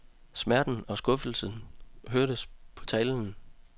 Smerten og skuffelsen hørtes på talen.